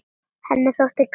Henni þótti gaman.